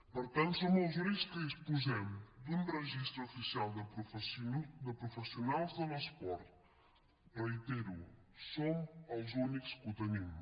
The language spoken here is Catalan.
per tant som els únics que disposem d’un registre oficial de professionals de l’esport ho reitero som els únics que ho tenim